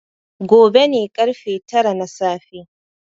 Gobe ne ƙarfe tara na safe.